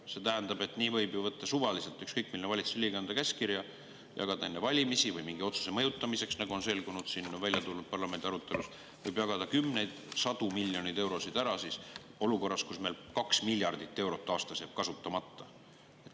See tähendab, et ükskõik milline valitsuse liige võib suvaliselt anda käskkirja ja jagada enne valimisi või mingi otsuse mõjutamiseks, nagu on selgunud, välja tulnud parlamendi arutelust, kümneid või sadu miljoneid eurosid olukorras, kus meil 2 miljardit eurot aastas jääb kasutamata.